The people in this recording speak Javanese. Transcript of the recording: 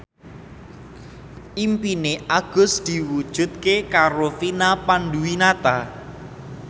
impine Agus diwujudke karo Vina Panduwinata